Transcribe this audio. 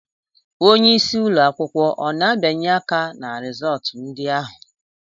Onyeisi ụlọ akwụkwọ ọ na-abianye aka ná rizọtụ ndị ahụ?